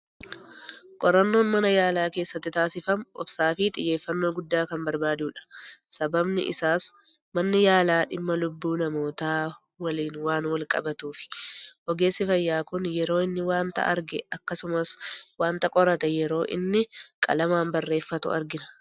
Qorannoon mana yaalaa keessatti taasifamu, obsa fi xiyyeeffannoo guddaa kan barbaaduudha. Sababni isaas manni yaalaa dhimma lubbuu namootaa waliinan waan wal qabatuui. Ogeessi fayyaa Kun yeroo inni waanta arge, akkasuma waanta qorate yeroo inni qalamaan barreeffatu argina.